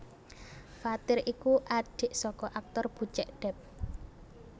Fathir iku adhik saka aktor Bucek Depp